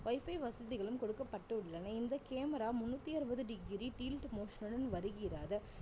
wifi வசதிகளும் கொடுக்கப்பட்டுள்ளன இந்த camera முண்ணூத்தி அறுவது degree tilt motion உடன் வருகிறது